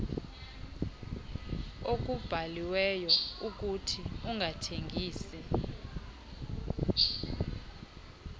okubhaliweyo ukuthi ungathengisi